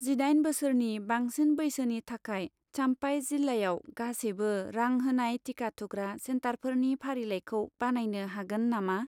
जिदाइन बोसोरनि बांसिन बैसोनि थाखाय चाम्पाइ जिल्लायाव गासैबो रां होनाय टिका थुग्रा सेन्टारफोरनि फारिलाइखौ बानायनो हागोन नामा?